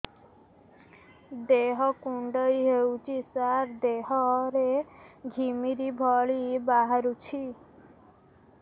ଦେହ କୁଣ୍ଡେଇ ହେଉଛି ସାରା ଦେହ ରେ ଘିମିରି ଭଳି ବାହାରୁଛି